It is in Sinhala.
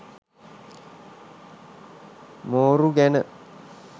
මෝරු ගැන